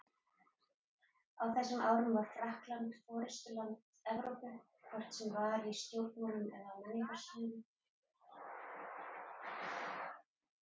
Á þessum árum var Frakkland forystuland Evrópu, hvort sem var í stjórnmálum eða á menningarsviðinu.